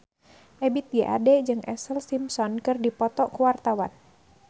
Ebith G. Ade jeung Ashlee Simpson keur dipoto ku wartawan